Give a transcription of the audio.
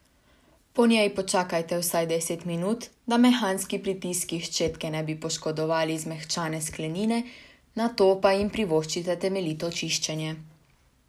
Po njej počakajte vsaj deset minut, da mehanski pritiski ščetke ne bi poškodovali zmehčane sklenine, nato pa jim privoščite temeljito čiščenje.